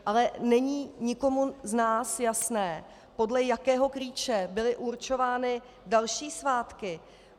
Ale není nikomu z nás jasné, podle jakého klíče byly určovány další svátky.